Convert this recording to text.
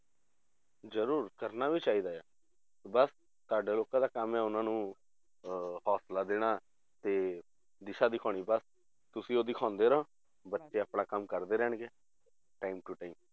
ਜ਼ਰੂਰ ਕਰਨਾ ਵੀ ਚਾਹੀਦਾ ਆ ਬਸ ਤੁਹਾਡੇ ਲੋਕਾਂ ਦਾ ਕੰਮ ਹੈ ਉਹਨਾਂ ਨੂੰ ਅਹ ਹੋਸਲਾ ਦੇਣਾ ਤੇ ਦਿਸ਼ਾ ਦਿਖਾਉਣੀ ਬਸ ਤੁਸੀਂ ਉਹ ਦਿਖਾਉਂਦੇ ਰਹੋ, ਬੱਚੇ ਆਪਣਾ ਕੰਮ ਕਰਦੇ ਰਹਿਣਗੇ time to time